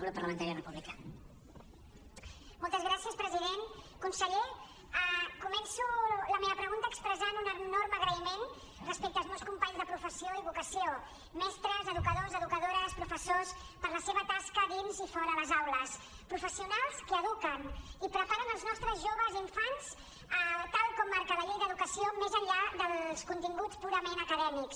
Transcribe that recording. conseller començo la meva pregunta expressant un enorme agraïment respecte als meus companys de professió i vocació mestres edu·cadors educadores professors per la seva tasca dins i fora les aules professionals que eduquen i preparen els nostres joves i infants tal com marca la llei d’educació més enllà dels continguts purament acadèmics